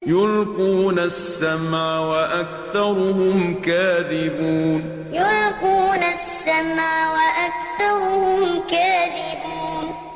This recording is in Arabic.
يُلْقُونَ السَّمْعَ وَأَكْثَرُهُمْ كَاذِبُونَ يُلْقُونَ السَّمْعَ وَأَكْثَرُهُمْ كَاذِبُونَ